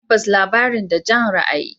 Tabbas, labarin da Jan ra'ayi.